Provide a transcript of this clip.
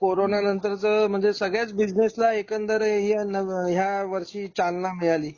Corona नंतरच म्हणजे सगळ्याच बिजनेस ला एकंदर या नव्या ह्या वर्षी चालना मिळाली.